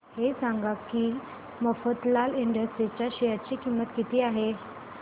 हे सांगा की मफतलाल इंडस्ट्रीज च्या शेअर ची किंमत किती आहे